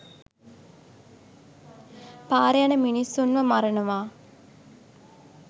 පාරෙ යන මිනිස්සුන්ව මරනවා.